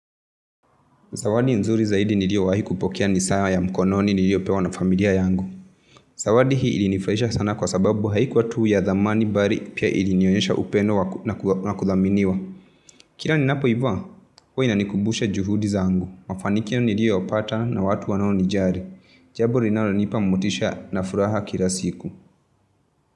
Zawadi nzuri zaidi niliyowahi kupokea ni saa ya mkononi niliyopewa na familia yangu. Zawadi hii ilinifuahisha sana kwa sababu haikuwa tuu ya thamani bali pia ilinionyesha upendo na kuthaminiwa. Kila ninapoivaa, huwa inanikumbusha juhudi zangu. Mafanikio niliyopata na watu wanaonijali. Jambo linalonipa motisha na furaha kila siku.